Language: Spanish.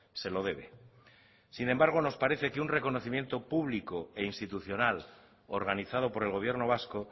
se lo debe sin embargo nos parece que un reconocimiento público e institucional organizado por el gobierno vasco